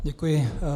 Děkuji.